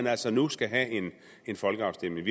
altså nu skal have en folkeafstemning